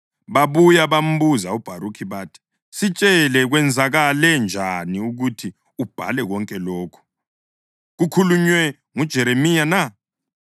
Babuya bambuza uBharukhi bathi, “Sitshele, kwenzakale njani ukuthi ubhale konke lokhu? Kukhulunywe nguJeremiya na?”